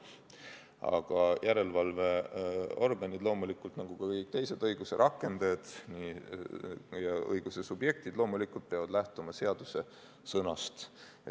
Aga järelevalveorganid nagu ka kõik teised õiguse rakendajad ja õiguse subjektid peavad loomulikult lähtuma seadusesõnast.